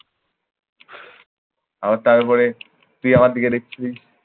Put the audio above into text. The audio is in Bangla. আবার তারপরে তুই আমার দিকে দেখছিলিস।